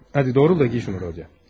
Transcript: Hadi, doğrul da geyin şunu, Rodya.